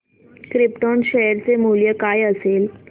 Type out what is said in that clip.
krypton share चे मूल्य काय असेल